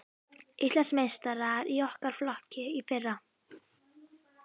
Íslandsmeistarar í okkar flokki í fyrra.